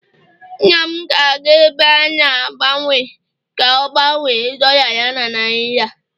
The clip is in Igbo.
nna m ga-aga ebe a na-agbanwe ka o gbanwe dolla ya na naira